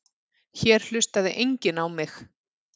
Hér hlustaði enginn á mig.